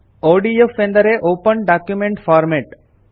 ODF ಎಂದರೆ open document format